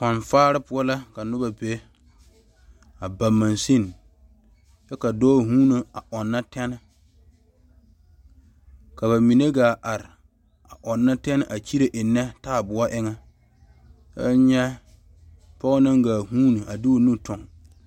Koɔfaare poɔ la ka noba be a ba magsine kyɛ ka noba ɔnne tene ka bamine gaa are ɔnne tene a kyire enne taayɛboɔ eŋa kyɛ nyɛ pɔge naŋ gaa vuune a de o nu tuŋ.